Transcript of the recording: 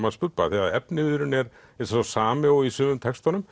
hans Bubba því efniviðurinn er sá sami og í sumum textunum